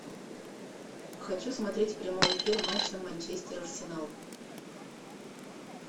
хочу смотреть прямой эфир матча манчестер арсенал